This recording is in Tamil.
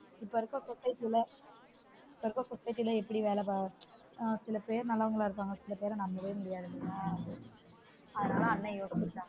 இப்ப இருக்குற society ல இப்ப இருக்குற society ல வேல பாக்குறது சில பேர் நல்லவங்களா இருப்பாங்க சில பேர் நம்பவே முடியாது இல்லயா அதுனால அண்ணன் யோசிக்கலாம்